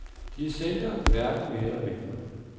De er sælgere, hverken mere eller mindre.